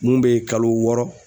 Mun bɛ kalo wɔɔrɔ